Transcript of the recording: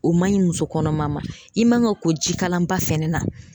O man ɲi musokɔnɔma ma i man ka ko jikalan ba fɛnɛ na.